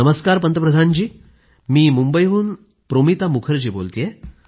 नमस्कार पंतप्रधान जी मी मुंबईवरून प्रोमिता मुखर्जी बोलतेय